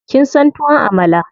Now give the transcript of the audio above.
Kin son tuwon Amala?